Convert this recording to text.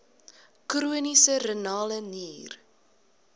chroniese renale nier